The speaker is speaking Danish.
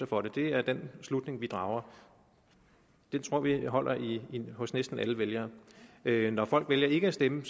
for det det er den slutning vi drager den tror vi holder hos næsten alle vælgere vælgere når folk vælger ikke at stemme